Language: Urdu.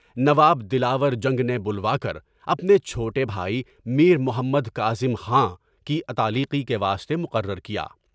نواب دلاور جنگ نے بلوا کر اپنے چھوٹے بھائی میر محمد کاظم خان کی عطالقی کے واسطے مقرر کیا۔